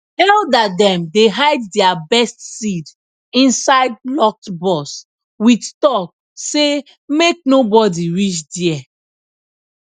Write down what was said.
elder dem dey hide their best seed inside locked box with talk say make no body reach there